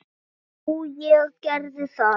Nú, ég gerði það.